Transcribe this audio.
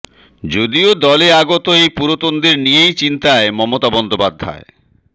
যদিও দলে আগত এই পুরোতনদের নিয়েই চিন্তায় মমতা বন্দ্য়োপাধ্যায়